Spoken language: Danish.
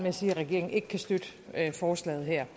at sige at regeringen ikke kan støtte forslaget her